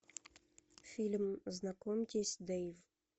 фильм знакомьтесь дэйв